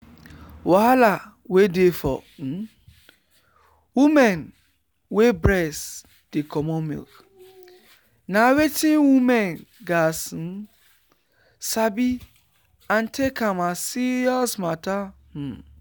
wahala wey dey for um women wey breast dey comot milk na wetin women gat um sabi and take am as serious matter. um